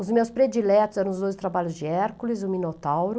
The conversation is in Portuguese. Os meus prediletos eram os dois trabalhos de Hércules, o Minotauro.